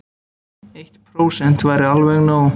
Eitt prósent væri alveg nóg.